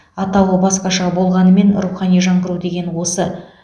атауы басқаша болғанмен рухани жаңғыру деген осы